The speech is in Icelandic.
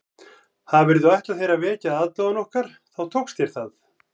Hafirðu ætlað þér að vekja aðdáun okkar þá tókst þér það